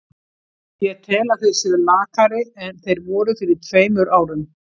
Ég tel að þeir séu lakari en þeir voru fyrir tveimur árum.